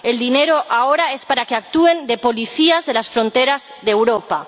El dinero ahora es para que actúen de policías de las fronteras de Europa.